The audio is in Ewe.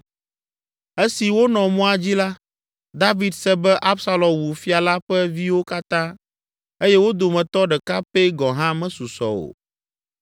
Esi wonɔ mɔa dzi la, David se be, “Absalom wu fia la ƒe viwo katã eye wo dometɔ ɖeka pɛ gɔ̃ hã mesusɔ o.”